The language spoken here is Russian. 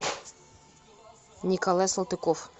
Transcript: николай салтыков